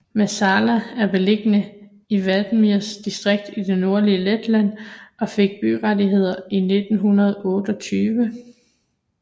Mazsalaca er beliggende i Valmieras distrikt i det nordlige Letland og fik byrettigheder i 1928